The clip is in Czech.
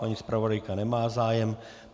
Paní zpravodajka nemá zájem.